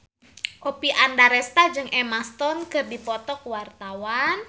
Oppie Andaresta jeung Emma Stone keur dipoto ku wartawan